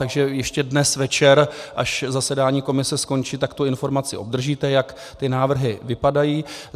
Takže ještě dnes večer, až zasedání komise skončí, tak tu informaci obdržíte, jak ty návrhy vypadají.